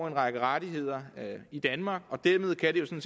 en række rettigheder i danmark og dermed kan de jo